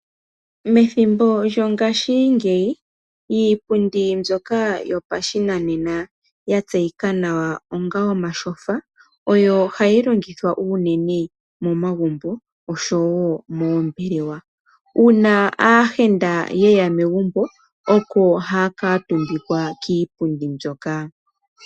Methimbo lyongashingeyi iipundi mbyoka yopashinanena, ya tseyika nawa onga omashofa oyo hayi longithwa unene momagumbo, osho wo moombelewa. Uuna aayenda ye ya megumbo, oko ha ya kaatumbikwa kiipundi mbyoka.